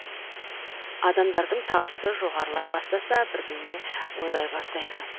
адамдардың табысы жоғарылай бастаса бірдеңе ойлай бастайды